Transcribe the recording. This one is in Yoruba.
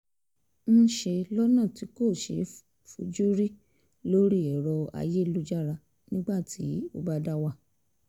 ń ṣe lọ́nà tí kò ṣeé fojú rí lórí èrọ ayélujára nígbà tó bá ń dá wà